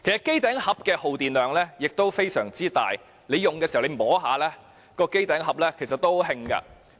機頂盒的耗電量非常大，故此機身在使用期間是燙手的。